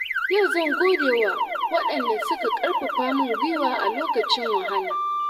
Yau zan gode wa waɗanda suka karfafa min gwiwa a lokacin wahala.